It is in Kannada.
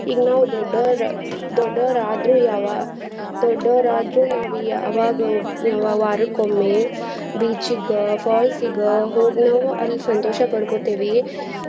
ಈಗ ನಾವ್ ದೊಡ್ಡೊರ್, ದೊಡ್ಡೊರ್ ಆದ್ರೂ ಯಾವ~ ದೊಡ್ಡೊರಾದ್ರೂ ನಾವಿ ಅವಾಗ ವಾರಕ್ಕೊಮ್ಮೆ beach ಗ falls ಗ ಹೋಗ್ ನಾವು ಅಲ್ ಸಂತೋಷ ಪಡ್ಕೋತಿವಿ.